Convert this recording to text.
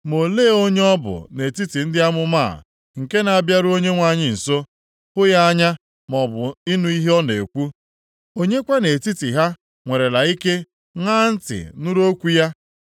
Ma olee onye ọ bụ nʼetiti ndị amụma a nke na-abịaru Onyenwe anyị nso, hụ ya anya maọbụ ịnụ ihe ọ na-ekwu? Onye kwa nʼetiti ha nwerela ike ṅaa ntị nụrụ okwu ya?